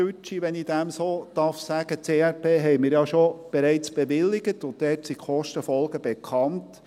Den Hauptbrocken – wenn ich dem so sagen darf –, das ERP, haben wir ja bereits bewilligt, und dort sind die Kostenfolgen bekannt.